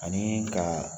Ani ka